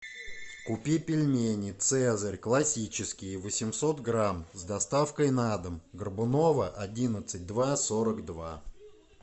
купи пельмени цезарь классические восемьсот грамм с доставкой на дом горбунова одиннадцать два сорок два